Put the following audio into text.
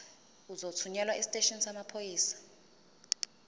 uzothunyelwa esiteshini samaphoyisa